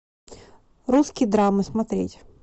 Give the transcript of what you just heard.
русские драмы смотреть